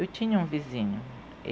Eu tinha um vizinho.